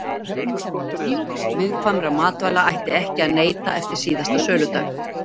viðkvæmra matvæla ætti ekki að neyta eftir síðasta söludag